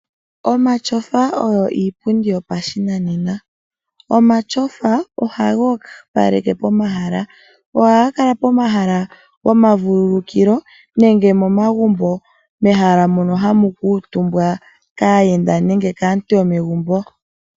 Omatyofa oyo iipundi yopashinanena. Omatyofa ohaga opaleke pomahala. Ohaga kala pomahala gomavululukilo nenge momagumbo mehala mono hamu kuutumbwa kaayenda nenge kaantu yomegumbo.